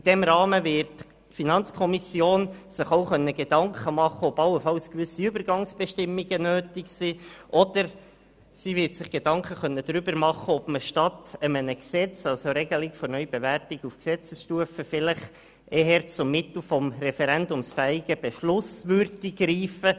In diesem Rahmen wird sich die FiKo auch Gedanken machen können, ob allenfalls gewisse Übergangsbestimmungen nötig sind, oder ob man statt der Regelung der Neubewertung auf Gesetzesstufe vielleicht eher zu einem referendumsfähigen Beschluss greifen würde.